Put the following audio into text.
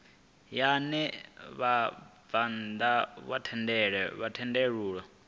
ya ṋea vhabvann ḓa thendelo